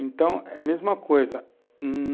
Então, é a mesma coisa, hum